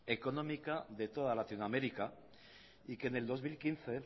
económica de toda latinoamérica y que en el dos mil quince